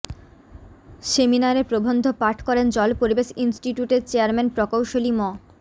সেমিনারে প্রবন্ধ পাঠ করেন জল পরিবেশ ইন্সটিটিউটের চেয়ারম্যান প্রকৌশলী ম